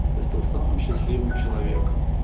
и стал самым счастливым человеком